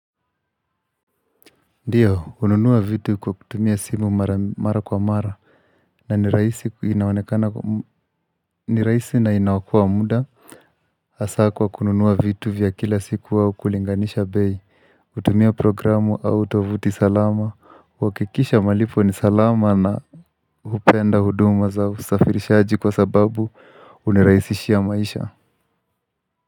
Ndiyo, kununua vitu kwa kutumia simu mara kwa mara na ni rahisi ni rahisi na inaokoa muda hasa kwa kununua vitu vya kila siku au kulinganisha beii hutumia programu au tovuti salama, kuhakikisha malipo ni salama na hupenda huduma za usafirishaji kwa sababu huniraisishia maisha.